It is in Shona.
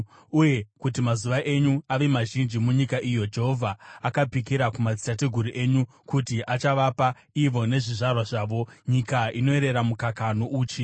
uye kuti mazuva enyu ave mazhinji munyika iyo Jehovha akapikira kumadzitateguru enyu kuti achavapa ivo nezvizvarwa zvavo, nyika inoyerera mukaka nouchi.